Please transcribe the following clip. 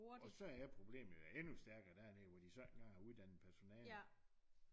Og så er problemet jo endnu stærkere dernede hvor de så ikke engang har uddannet personale